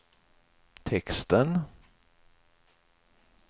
texten